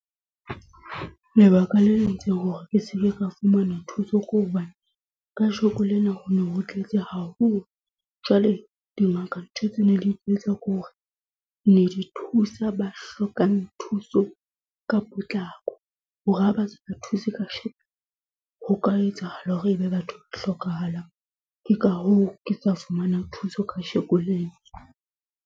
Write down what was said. Lebaka le entseng hore ke seke ka fumana thuso ke hobane kajeno lena ho no ho tletse haholo. Jwale dingaka ntho tse ne di tlo etsa ke hore ne di thusa ba hlokang thuso ka potlako hore ha ba se ba thuse kajeno ho ka etsahala hore ebe batho ba hlokahalang. Ke ka hoo ke sa fumana thuso kajeno lena.